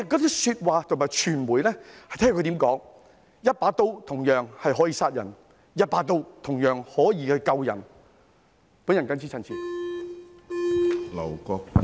這些說話要視乎傳媒如何表達，相同的一把刀可以殺人，也可以救人。